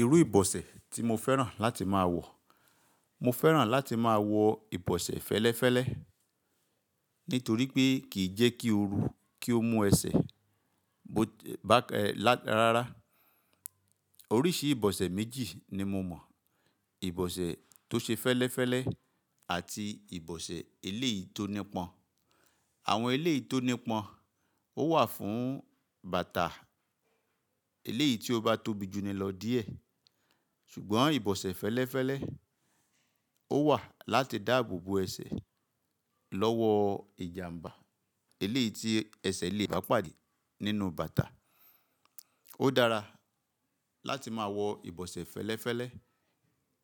Irú ìbọ̀sẹ̀ tí mo fẹ́ràn láti máa wọ̀, mo fẹ́ràn láti máa wọ ìbọ̀sẹ̀ fẹ́lẹ́fẹ́lẹ́ nítorí pé kìí jẹ́ kí o rú kí ó mú ẹsẹ̀ bá e là rárá. Oríṣi ìbọ̀sẹ̀ méjì ni mo mọ̀, ìbọ̀sẹ̀ tó ṣe fẹ́lẹ́fẹ́lẹ́ àti ìbọ̀sẹ̀ eléyìí tó nípọn. Àwọn eléyìí tó nípọn ó wà fún bàtà eléyìí tí ó bá tóbi ju ni lọ díẹ̀. Ṣùgbọ́n ìbọ̀sẹ̀ fẹ́lẹ́fẹ́lẹ́ ó wà láti dáàbò bo ẹsẹ̀ lọ́wọ́ ìjàmbá eléyìí tí ẹsẹ̀ le ba pàdé nínú bàtà. Ó dára láti máa wọ ìbọ̀sẹ̀ fẹ́lẹ́fẹ́lẹ́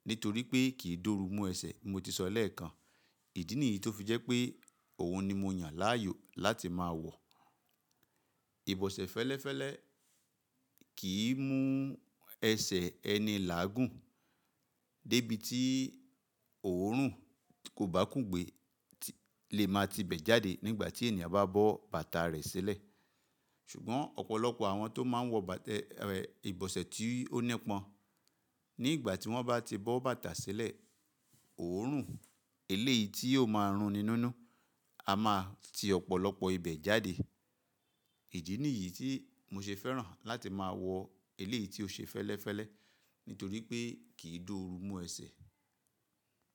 nítorí pé kìí doru mú ẹsẹ̀ bi mo ti sọ lẹ́ẹ̀kan. Ìdí nìyí tó fi jẹ́ pé òun ni mo yàn láàyò láti máa wọ̀. Ìbọ̀sẹ̀ fẹ́lẹ́fẹ́lẹ́ kìí mú ẹsẹ̀ ẹni làágùn débi tí òórùn tí kò bá kúngbè le máa ti bẹ̀ jáde nígbà tí ènìyàn bá bọ́ bàtà rẹ̀ sílẹ̀. Ṣùgbọ́n ọ̀pọ̀lọpọ̀ àwọn tó máa ń wọ bàtà ẹ ìbọ̀sẹ̀ tí ó nípọn nígbà tí wọ́n bá ti bọ́ bàtà sílẹ̀, òórùn eléyìí tí yóò máa runinú nú a máa ti ọ̀pọ̀lọpọ̀ ibẹ̀ jáde. Ìdí nìyí tí mo ṣe fẹ́ràn láti máa wọ eléyìí tí ó ṣe fẹ́lẹ́fẹ́lẹ́ nítorí pé kìí dúró mú ẹsẹ̀.